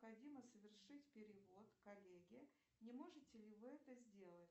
необходимо совершить перевод коллеге не можете ли вы это сделать